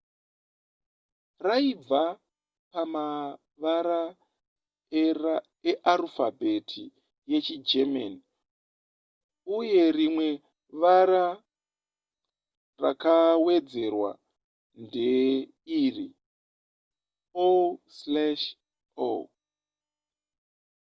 raibva pamavara earufabheti yechigerman uye rimwe vara rakawedzerwa ndeiri: o/o